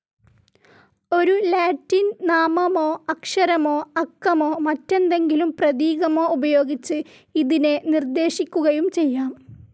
ഒരു ലാറ്റിൻ നാമമോ അക്ഷരമോ അക്കമോ മറ്റെന്തെങ്കിലും പ്രതീകമോ ഉപയോഗിച്ച് ഇതിനെ നിർദ്ദേശിക്കുകയും ചെയ്യാം.